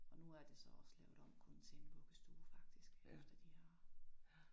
Og nu er det så også lavet om kun til en vuggestue faktisk efter de har